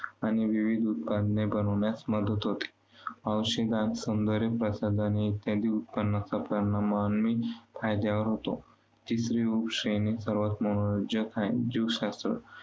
आणि विविध उपकरणे बनवण्यास मदत होते. औषधांत, सौंदर्यप्रसाधने इत्यादी उत्पादनांचा परिणाम मानवी फायद्यावर होतो. तिसरी उपश्रेणी सर्वांत मनोरंजक आहे, जीवशास्त्र.